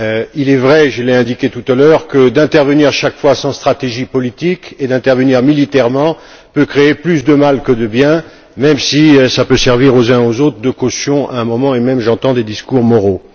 Il est vrai je l'ai indiqué tout à l'heure qu'intervenir chaque fois sans stratégie politique et intervenir militairement peut créer plus de mal que de bien, même si cela peut parfois servir aux uns et aux autres de caution à un moment. J'entends même à certains moments des discours moraux.